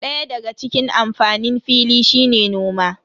Daya daga cikin amfanin fili shine noma.